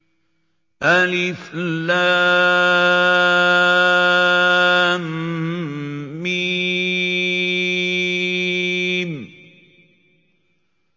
الم